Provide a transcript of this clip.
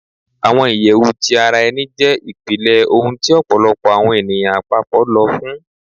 Awọn iyẹwu ti ara ẹni jẹ ipilẹ ohun ti ọpọlọpọ awọn eniyan apapọ lọ fun